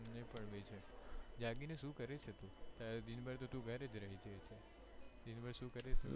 મને પણ એવું છે જાગી ને શું કરે છે તું દિન ભાર તો તું ઘરેજ રહે છે દિન ભર શું કરે છે